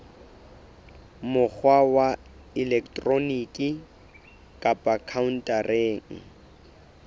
mokgwa wa elektroniki kapa khaontareng